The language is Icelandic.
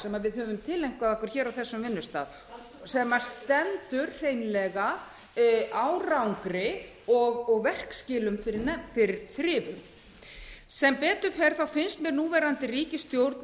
sem við höfum tileinkað okkur á þessum vinnustað sem stendur hreinlega árangri og verkskilum fyrir þrifum sem betur fer finnst mér núverandi ríkisstjórn